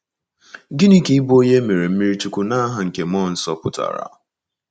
Gịnị ka ịbụ onye e mere mmiri chukwu ‘n’aha nke mmụọ nsọ’ pụtara?